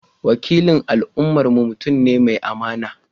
Wakilin al’ummarmu mutum ne mai amana.